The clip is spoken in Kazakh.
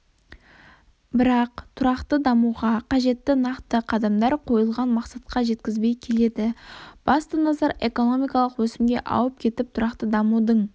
бірақ тұрақты дамуға қажетті нақты қадамдар қойылған мақсатқа жеткізбей келеді басты назар экономикалық өсімге ауып кетіп тұрақты дамудың